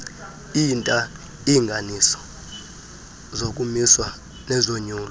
iintalnganiso zokumiswa nezonyulo